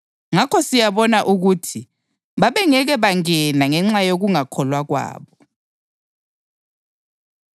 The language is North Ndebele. Ngakho siyabona ukuthi babengeke bangene ngenxa yokungakholwa kwabo.